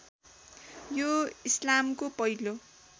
यो इस्लामको पहिलो